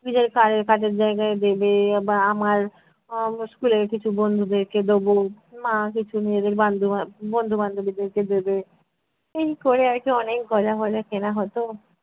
নিজের কাজে~ কাজের জায়গায় দেবে আবার আমার আহ school এর কিছু বন্ধুদেরকে দেবো, মা কিছু নিজেদের বান্ধু আহ বন্ধু বান্ধবীদেরকে দেবে। এই করে আর কী অনেক গজা ফজা কেনা হতো।